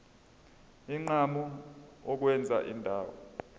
unquma ukwenza indawo